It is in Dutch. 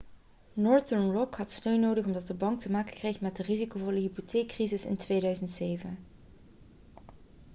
northern rock had steun nodig omdat de bank te maken kreeg met de risicovolle hypotheekcrisis in 2007